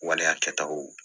Waleya kɛtaw